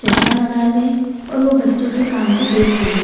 चश्मा लगाए हुए है और वो बच्चों के काम को देख रही है।